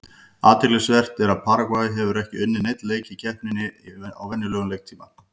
Athyglisvert er að Paragvæ hefur ekki unnið neinn leik í keppninni í venjulegum leiktíma.